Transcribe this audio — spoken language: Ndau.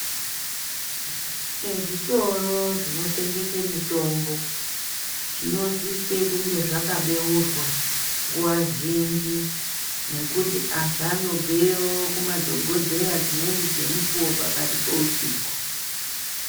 Ezvitoro zvinotengese mitombo zvinosise kunge zvakabeurwa nguwa zhinji nekuti anhu anobveyo kumadhokodheya dzimweni dzemukuwo pakati peusiku.